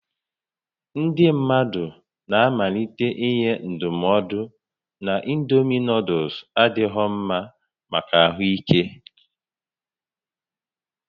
Ndị mmadụ na-amalite inye ndụmọdụ na indomi nuuduls adịghị mma maka ahụ ike